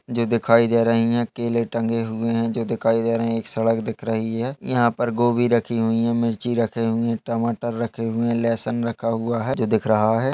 --जो दिखाई दे रही है केले टंगे हुए है जो दिखाई दे रही है एक सड़क दिख रही है यहाँ पर गोभी रखी हुई मिर्ची रखी हुई है टमाटर रखे हुए है लहसुन रखा हुआ है जो दिख रहा है।